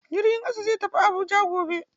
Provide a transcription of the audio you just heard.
Jirgin ƙasa zai tafi Abuja gobe.